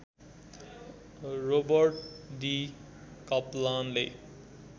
Robert D कप्लानले